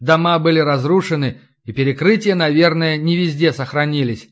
дома были разрушены и перекрытия наверное не везде сохранились